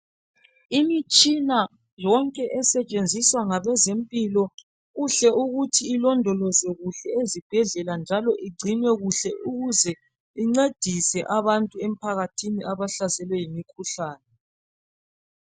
Imitshina yonke esetshenziswa ngabezempilo kuhle ukuthi ilondolozwe kuhle ezibhedlela njalo igcinwe kuhle ukuze incedise abantu emphakathini abahlaselwe yimkhuhlane .